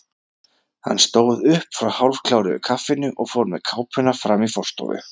Hann stóð upp frá hálfkláruðu kaffinu og fór með kápuna fram í forstofu.